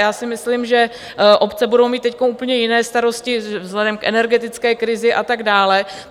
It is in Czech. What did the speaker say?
Já si myslím, že obce budou mít teď úplně jiné starosti vzhledem k energetické krizi a tak dále.